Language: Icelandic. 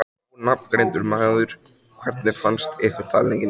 Ónafngreindur maður: Hvernig fannst ykkur talningin?